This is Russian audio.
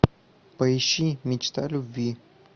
поищи мечта любви